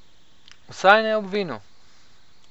Vsaj ne ob vinu!